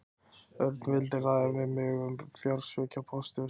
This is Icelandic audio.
Örn vildi ræða við mig um fjársvikin hjá Pósti og síma.